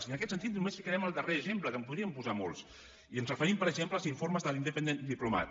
i en aquest sentit només posarem el darrer exemple que en podríem posar molts i ens referim per exemple als informes de l’independent diplomat